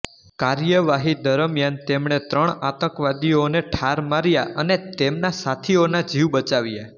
કાર્યવાહી દરમિયાન તેમણે ત્રણ આતંકવાદીઓને ઠાર માર્યા અને તેમના સાથીઓના જીવ બચાવ્યા